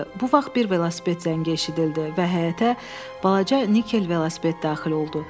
Bu vaxt bir velosiped zəngi eşidildi və həyətə balaca nikel velosiped daxil oldu.